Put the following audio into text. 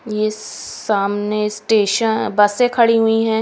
ये सस सामने स्टेशन बसे से खड़ी हुई हैं।